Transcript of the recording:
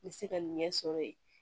N bɛ se ka nin ɲɛ sɔrɔ yen